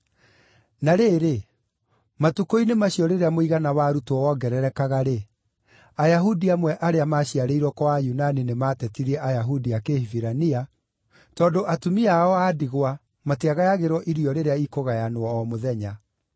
Na rĩrĩ, matukũ-inĩ macio rĩrĩa mũigana wa arutwo wongererekaga-rĩ, Ayahudi amwe arĩa maaciarĩirwo kwa Ayunani nĩmatetirie Ayahudi a Kĩhibirania tondũ atumia ao a ndigwa matiagayagĩrwo irio rĩrĩa ikũgayanwo o mũthenya.